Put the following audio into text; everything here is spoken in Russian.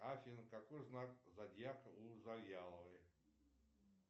афина какой знак зодиака у завьяловой